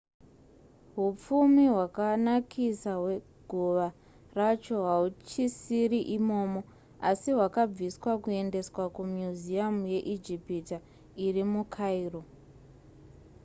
hupfumi hwakanakisa hweguva racho hauchisiri imomo asi hwakabviswa kuendeswa kumuseum yeijipita iri mukairo